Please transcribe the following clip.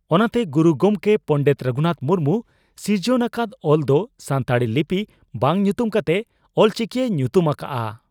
ᱚᱱᱟᱛᱮ ᱜᱩᱨᱩ ᱜᱚᱢᱠᱮ ᱯᱚᱸᱰᱮᱛ ᱨᱚᱜᱷᱩᱱᱟᱛᱷ ᱢᱩᱨᱢᱩ ᱥᱤᱨᱡᱚᱱ ᱟᱠᱟᱫ ᱚᱞ ᱫᱚ ᱥᱟᱱᱛᱟᱲᱤ ᱞᱤᱯᱤ ᱵᱟᱝ ᱧᱩᱛᱩᱢ ᱠᱟᱛᱮ ᱚᱞᱪᱤᱠᱤᱭ ᱧᱩᱛᱩᱢ ᱟᱠᱟᱫᱼᱟ ᱾